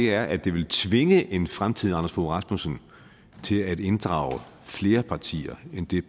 er at det vil tvinge en fremtidig anders fogh rasmussen til at inddrage flere partier end det